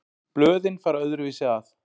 Blöðin fara öðruvísi að.